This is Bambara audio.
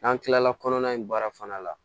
N'an tilala kɔnɔna in baara fana la